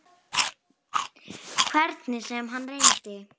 Hvernig sem hann reyndi.